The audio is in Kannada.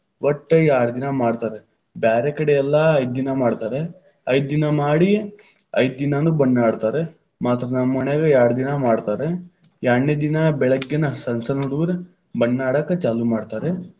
ಒಟ್ಟ ಯಾರ್ಡ್ ದಿನಾ ಮಾಡ್ತಾರ, ಬ್ಯಾರೆಕಡೆ ಎಲ್ಲಾ ಐದ್ದಿನಾ ಮಾಡ್ತಾರ, ಐದ್ದೀನಾ ಮಾಡಿ, ಐದ್ದೀನಾನು ಬಣ್ಣ ಆಡ್ತಾರ ಮಾತ್ರ ನಮ್ಮ ಓಣ್ಯಾಗ ಯಾರ್ಡ್ ದಿನಾ ಮಾಡ್ತಾರ. ಯಾರ್ಡನೆ ದಿನಾ ಬೆಳಿಗ್ಗೆನ ಸಣ್ಣ ಸಣ್ಣ ಹುಡುಗುರು ಬಣ್ಣ ಆಡಾಕ ಚಾಲು ಮಾಡ್ತಾರ.